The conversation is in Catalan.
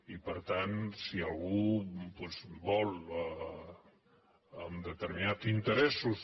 i per tant si algú doncs vol amb determi·nats interesso